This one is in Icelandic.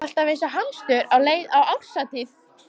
Alltaf eins og hamstur á leið á árshátíð.